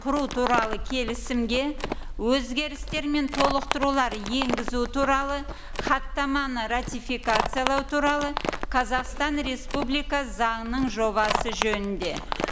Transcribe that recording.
құру туралы келісімге өзгерістер мен толықтырулар енгізу туралы хаттаманы ратификациялау туралы қазақстан республикасы заңының жобасы жөнінде